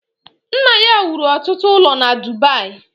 Nna ya wuru ọtụtụ ụlọ na Dubayi